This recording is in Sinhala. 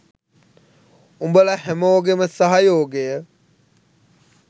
උඹල හැමෝගෙම සහයෝගය